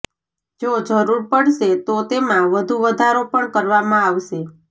જો જરૂર પડશે તો તેમાં વધુ વધારો પણ કરવામાં આવશે